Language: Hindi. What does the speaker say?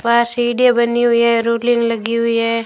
पास इडिये बनी हुई है रोलिंग लगी हुई है।